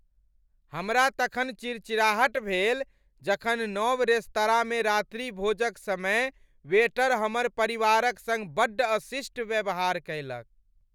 हमरा तखन चिड़चिड़ाहट भेल जखन नव रेस्तराँमे रात्रिभोजक समय वेटर हमर परिवारक सङ्ग बड्ड अशिष्ट व्यवहार कयलक।